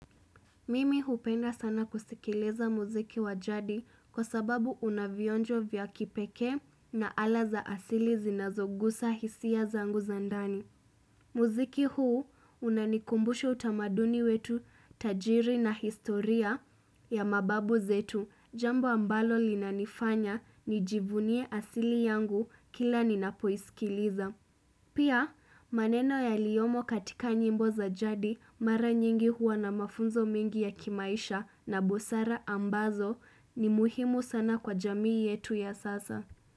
Mimi hupenda sana kusikileza muziki wa jadi kwa sababu unavionjo vya kipeke na ala za asili zinazogusa hisia zangu za ndani. Muziki huu unanikumbusha utamaduni wetu tajiri na historia ya mababu zetu jambo ambalo linanifanya nijivunie asili yangu kila ninapoiskiliza. Pia maneno yaliyomo katika nyimbo za jadi mara nyingi huwa na mafunzo mengi ya kimaisha na bosara ambazo ni muhimu sana kwa jamii yetu ya sasa.